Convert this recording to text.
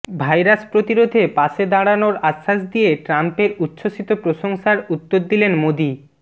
virus প্রতিরোধে পাশে দাঁড়ানোর আশ্বাস দিয়ে ট্রাম্পের উচ্ছ্বসিত প্রশংসার উত্তর দিলেন মোদী